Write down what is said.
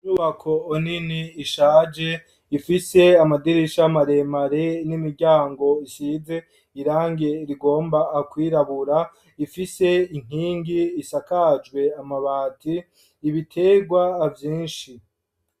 Imyubako nini ishaje ifise amadirisha maremare n'imiryango isize irangi rigomba kwirabura ifise inkingi zisakajwe amabati ibitegwa vyinshi.